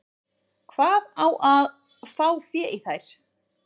Hvar á að fá fé í þær?